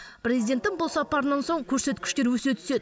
президенттің бұл сапарынан соң көрсеткіштер өсе түседі